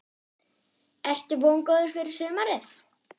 Ertu vongóður fyrir sumarið?